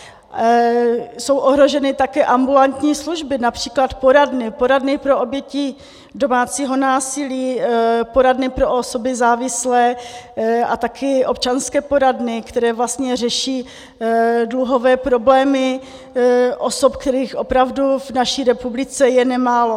Jsou ohroženy taky ambulantní služby, například poradny, poradny pro oběti domácího násilí, poradny pro osoby závislé a taky občanské poradny, které vlastně řeší dluhové problémy osob, kterých opravdu v naší republice je nemálo.